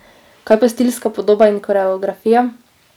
Kaj pa stilska podoba in koreografija?